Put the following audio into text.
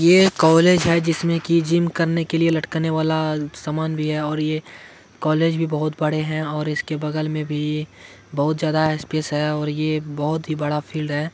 यह कॉलेज है जिसमें की जिम करने लटकाने समान है कॉलेज भी बहुत बड़े हैं और उसके बगल में भी बहुत ज्यादा स्पेस है और यह बहुत बड़ा फील्ड है।